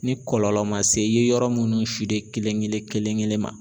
Ni kɔlɔlɔ ma se i ye yɔrɔ munnu kelen kelen ma